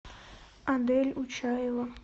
адель учаева